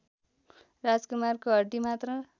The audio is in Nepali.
राजकुमारको हड्डीमात्र